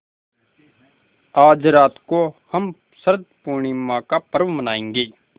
आज रात को हम शरत पूर्णिमा का पर्व मनाएँगे